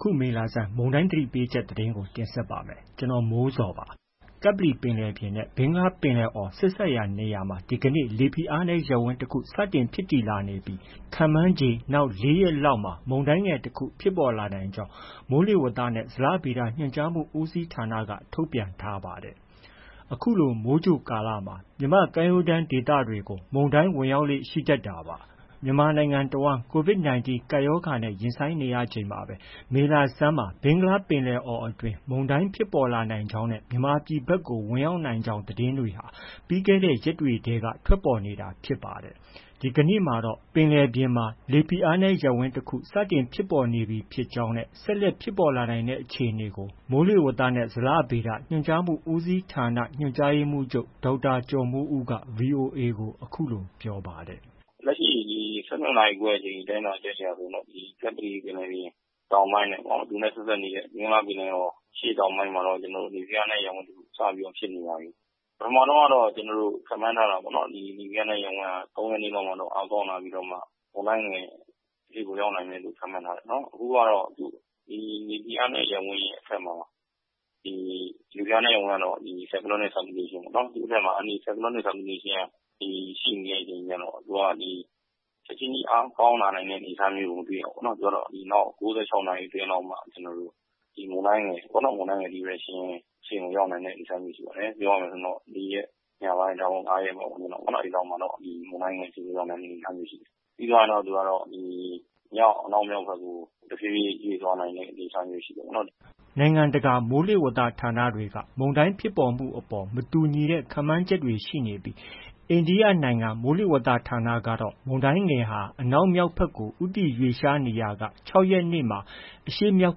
ခု မေလဆန်း မုန်တိုင်းသတိပေးချက်သတင်းကို ဗွီအိုအေမြန်မာပိုင်းသတင်းထောက် ကိုမိုးဇော်က တင်ဆက်ပေးပါမယ်။ ကပ္ပလီပင်လယ်ပြင်နဲ့ ဘင်္ဂလားပင်လယ်အော်ဆက်စပ်နေရာမှာ ဒီကနေ့ လေဖိအားနည်းရပ်ဝန်း တခု စတင်ဖြစ်တည်လာနေပြီး ခန့်မှန်းခြေ နောက် ၄ ရက်လောက်မှာတော့ မုန်တိုင်းငယ်တခု ဖြစ်ပေါ်လာနိုင်ကြောင်း မိုးလေဝသနဲ့ ဇလဗေဒ ညွှန်ကြားမှုဦးစီးဌာနက ထုတ်ပြန်ထားပါတယ်။ အခုလို မိုးကြိုကာလမှာ မြန်မာနိုင်ငံကမ်းရိုးတမ်းဒေသတွေကို မုန်တိုင်းဝင်ရောက်လေ့ရှိတတ်တာပါ။ မြန်မာနိုင်ငံ တဝှမ်း COVID-19 ကပ်ရောဂါနဲ့ ရင်ဆိုင်နေချိန်မှာပဲ မေလဆန်းမှာ ဘင်္ဂလား ပင်လယ်အော်အတွင်း မုန်တိုင်းဖြစ်ပေါ်နိုင်ကြောင်းနဲ့ မြန်မာပြည်ဘက်ကို ဝင်ရောက်နိုင်ကြောင်း သတင်းတွေဟာ ပြီးခဲ့တဲ့ ရက်တွေထဲက ထွက်ပေါ်လာနေတာဖြစ်ပါတယ်။ ဒီကနေ့မှာတော့ ပင်လယ်ပြင်မှာ လေဖိအားနည်းရပ်ဝန်း တခု စတင်ဖြစ်ပေါ်နေပြီဖြစ်ကြောင်း ဆက်လက် ဖြစ်ပေါ်လာနိုင်တဲ့ အခြေအနေကို မိုးလေဝသနဲ့ ဇလဗေဒ ညွှန်ကြားမှုဦးစီးဌာန ညွှန်ကြားရေးမှုးချုပ် ဒေါက်တာ ကျော်မိုးဦးက VOA ကို အခုလို ပြောပါတယ်။ “လက်ရှိ ၁၂ နာရီခွဲအချိန် တိုင်းထွာချက်အရတော့ ကပ္ပလီပင်လယ်ပြင် တောင်ပိုင်းနဲ့ သူနဲ့ ဆက်စပ်နေတဲ့ ဘင်္ဂလားပင်လယ်အော် အရှေ့တောင်ပိုင်းမှာတော့ လေဖိအားနည်း ရပ်ဝန်းတစ်ခုစပြီးတော့ ဖြစ်နေပါပြီ။ ပထမတုန်းကတော့ ကျနော်တို့ ခန့်မှန်းထားတာပေါ့နော်။ ဒီ လေဖိအားနည်း ရပ်ဝန်းဟာ ၃ ရက်နေ့လောက်မှာ အားကောင်းလာပြီးတော့ မုန်တိုင်းငယ်အဖြစ်ကို ရောက်နိုင်တယ်လို့ ခန့်မှန်းထားတယ်။ အခုကတော့ ဒီ လေဖိအားနည်း ရပ်ဝန်းရဲ့ အထက်မှာ ဒီလေဖိအားနည်း ရပ်ဝန်းကတော့ Cyclonic Circulation ပေါ့။ သူ့အထက်မှာ Anti cyclonic Circulation က တည်ရှိနေတဲ့အချိန်ကျတော့ သူက ချက်ချင်းကြီး အားကောင်းလာတဲ့ အနေအထားမျိုးကို မတွေ့ရဘူး။ သူကတော့ နောက် ၉၆ နာရီ အတွင်းလောက်မှ မုန်တိုင်းငယ် Depression အဆင့်ကို ရောက်နိုင်မယ့် အနေအထားမျိုးရှိပါတယ်။ ပြောရမယ် ဆိုရင်တော့ ၄ ရက်ညပိုင်း ဒါမှမဟုတ် ၅ ရက်လောက်မှာတော့ မုန်တိုင်းငယ်အဆင့်ကို ရောက်နိုင်မယ့် အနေအထားမျိုးရှိတယ်။ ပြီးမှ သူက မြောက်- အနောက်မြောက်ဘက်ကို တဖြည်းဖြည်းရွေ့သွားတဲ့ အနေအထားမျိုး ရှိတယ်ပေါ့။” နိုင်ငံတကာ မိုးလေဝသ ဌာနတွေက မုန်တိုင်းဖြစ်ပေါ်မှုအပေါ် မတူညီတဲ့ ခန့်မှန်းချက်တွေရှိနေပြီး အိန္ဒိယနိုင်ငံ မိုးလေဝသ ဌာနကတော့ မုန်တိုင်းငယ်ဟာ အနောက်မြောက်ဘက်ကို ဦးတည်ရွှေ့လျားနေရာက ၆ ရက်နေ့မှာ အရှေ့မြောက်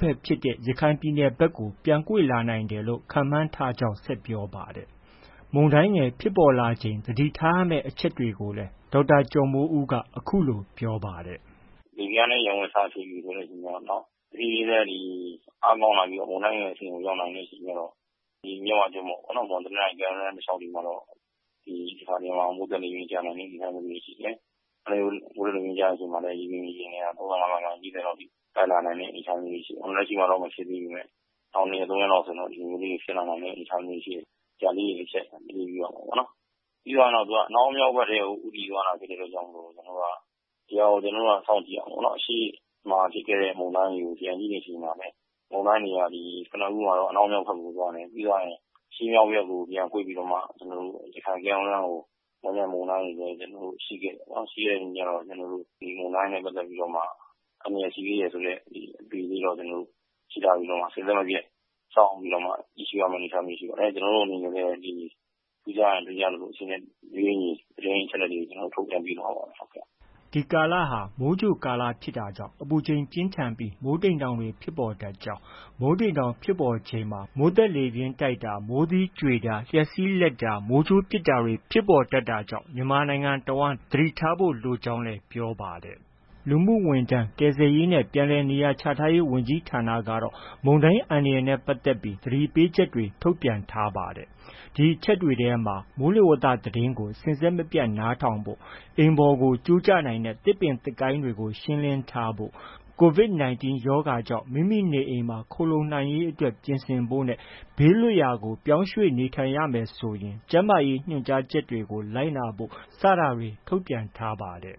ဘက်ဖြစ်တဲ့ ရခိုင်ပြည်နယ်ဘက်ကိုပြန်ကွေ့လာနိုင်တယ်လို့ ခန့်မှန်းထားကြောင်း ဆက်ပြောပါတယ်။ မုန်တိုင်းငယ်ဖြစ်ပေါ်လာချိန် သတိထားရမယ့် အချက်တွေကိုလည်း အခုလို ဒေါက်တာကျော်မိုးဦးက - “လေဖိအားနည်းရပ်ဝန်း စဖြစ်ပြီဆိုတဲ့အချိန်ကျတော့ တဖြည်းဖြည်းနဲ့ အားကောင်းလာပြီးတော့ မုန်တိုင်းငယ်အဆင့်ကို ရောက်လာတဲ့အချိန်ကျတော့ ဒီမြစ်ဝကျွန်းပေါ်။ မွန်၊ တနင်္သာရီ ကမ်းရိုးတမ်းဒေသတလျှောက်တွေမှာ တခါတရံ မိုးသက်လေပြင်းကျရောက်နိုင်တဲ့အနေအထားမျိုးတွေ ရှိတယ်။ မိုးသက်လေပြင်းကျချိန်မှာလည်း မြေပြင်ရေပြင်လေဟာ ၃၅ မိုင်- ၄၀ လောက်အထိ တိုက်လာနိုင်တဲ့ အနေအထားမျိုးတွေ ရှိတယ်။ အခုလက်ရှိမှာတော့ မဖြစ်သေးပေမဲ့ နောက် ၂ ရက်။ ၃ ရက်မှာတော့ ဒီလိုလေးတွေ ဖြစ်လာနိုင်တဲ့အနေအထားတွေ ရှိတယ်။ ဒါလေးတွေ တချက် သတိပြုရမှာပေါ့နော်။ ပြီးတော့ကျတော့ သူက အနောက်မြောက်ဘက်ကထဲကို ဦးတည်သွားတာဖြစ်တဲ့အတွက်ကြောင့်မို့ ဒီဟာလေးကို ကျနော်တို့ စောင့်ကြည့်ရမှာပေါ့နော်။ အရှေ့မှာ ဖြစ်ခဲ့တဲ့မုန်တိုင်းတွေကို ပြန်ကြည့်တဲ့အခါမှာလည်း မုန်တိုင်းတွေက ကနဦးမှာတော့ အနောက်မြောက်ဘက်ကို သွားတယ်။ ပြီးကျရင် အရှေ့မြောက်ဘက်ကို ပြန်ကွေ့ပြီးတော့မှ ရခိုင်ကမ်းရိုးတမ်းကို ဝင်တဲ့မုန်တိုင်းတွေလည်း ရှိခဲ့တယ်ပေါ့နော်။ ရှိခဲ့တဲ့အချိန်ကျတော့ ကျနော်တို့ ဒီမုန်တိုင်းနဲ့ပတ်သက်ပြီးတော့ အန္တရာယ်ရှိသေးတယ်ဆိုတဲ့ အသိလေးတော့ ရှိထားပြီးတော့မှာ စဉ်ဆက်မပြတ် စောင့်ကြည့်ရမယ့်အနေအထားမျိုးရှိပါတယ်။ ကျနော်တို့အနေနဲ့လည်း ထူးခြားရင် ထူးခြားသလို အချိန်နဲ့ တပြေးညီ သတင်းအချက်အလက်တွေကို ထုတ်ပြန်ပေးသွားပါမယ်။” ဒီကာလဟာ မိုးကြိုကာလဖြစ်တာကြောင့် အပူချိန်ပြင်းထန်ပြီး မိုးတိမ်တောင်တွေဖြစ်ပေါ်တတ်ကြောင်း၊ မိုးတိမ်တောင်ဖြစ်ပေါ်ချက်မှာ မိုးသက်လေပြင်းတိုက်တာ၊ မိုးသီးကြွေတာ၊ လျှပ်စီးလက်ပြီး မိုးကြိုးပစ်တာတွေ ဖြစ်ပေါ်တတ်တာကြောင့် မြန်မာပြည်တစ်ဝှမ်းလုံး သတိထားဖို့ လိုကြောင်းလည်း ပြောပါတယ်။ လူမှုဝန်ထမ်း၊ ကယ်ဆယ်ရေးနဲ့ ပြန်လည်နေရာချထားရေးဝန်ကြီးဌာနကတော့ မုန်တိုင်းအန္တရာယ်နဲ့ပတ်သက်ပြီး သတိပေးချက်တွေ ထုတ်ပြန်ထားပါတယ်။ အဲဒီအချက်တွေမှာတော့ မိုးလေဝသသတင်းကို စဉ်ဆက်မပြတ်နားထောင်ဖို့၊ အိမ်ပေါ်ကို ကျိုးကျနိုင်တဲ့ သစ်ပင်၊ သစ်ကိုင်းတွေကို ရှင်းလင်းထားဖို့၊ COVID-19 ရောဂါကြောင့် မိမိနေအိမ်မှာ ခိုလှုံနိုင်ရေးအတွက် ပြင်ဆင်ဖို့ ဘေးလွတ်ရာကို ရွှေ့ပြောင်းနေထိုင်ရမယ်ဆိုရင် ကျန်းမာရေးညွှန်ကြားချက်တွေကို လိုက်နာဖို့ စတာတွေ ထုတ်ပြန်ထားပါတယ်